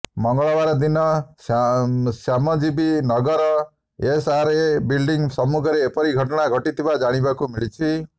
ମଙ୍ଗଳବାର ଦିନ ଶ୍ୟାମଜୀବୀ ନଗରର ଏସ୍ଆର୍ଏ ବିଲ୍ଡିଙ୍ଗ୍ ସମ୍ମୁଖରେ ଏପରି ଘଟଣା ଘଟିଥିବା ଜାଣିବାକୁ ମିଳିଛି